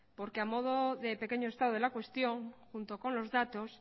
porque a modo de pequeño estado de la cuestión junto con los datos